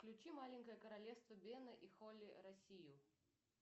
включи маленькое королевство бена и холли россию